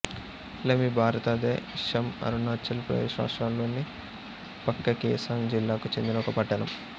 లెమ్మి భారతదేశంఅరుణాచల్ ప్రదేశ్ రాష్ట్రంలోని పక్కేకేసాంగ్ జిల్లాకు చెందిన ఒక పట్టణం